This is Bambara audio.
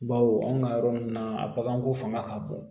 Baw anw ka yɔrɔ ninnu na a baganko fanga ka bon